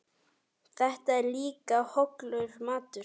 Þetta er líka hollur matur.